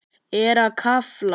Er að krafla.